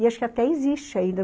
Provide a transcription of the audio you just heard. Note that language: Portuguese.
E acho que até existe ainda.